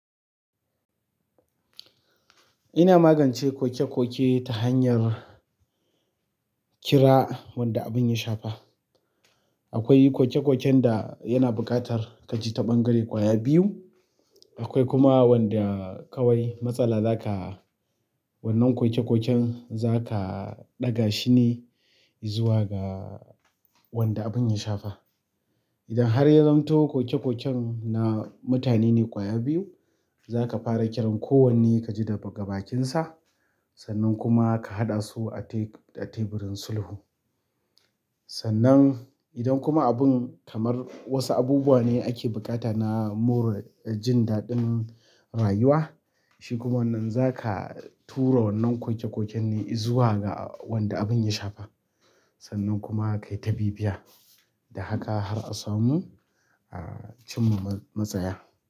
Ina magance koke-koke ta hanyar kira wanda abin ya shafa. Akwai koke-koken da yana buƙatar ka ji ta ɓangare ƙwaya biyu. Akwai kuma wanda kawai matsala za ka wannan koke-koken za ka ɗaga shi ne izuwa ga wanda abin ya shafa. Idan har ya zamto koke-koken na mutane ne ƙwaya biyu, za ka fara kiran kowanne ka ji daga bakinsa. Sannan kuma ka haɗa su a teburin sulhu. Sannan idan kuma abin kamar wasu abubuwa ne ake buƙata na more jin daɗin rayuwa, shi kuma wannan za ka tura wannan koke-koken ne izuwa ga wanda abin ya shafa. Sannan kuma ka yi ta bibiya da haka har a samu aa cimma matsaya.